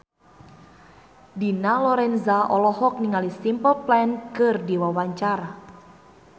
Dina Lorenza olohok ningali Simple Plan keur diwawancara